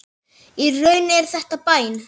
Í raun er þetta bæn.